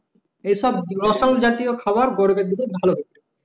এ সব রসালো জাতিও খাবার গরমের দিনে ভালো হত